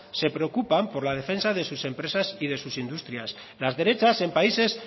se preocupan por la defensa de sus empresas y de sus industrias las derechas en países